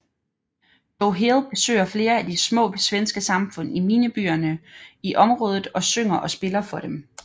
Joe Hill besøger flere af de små svenske samfund i minebyerne i området og synger og spiller for dem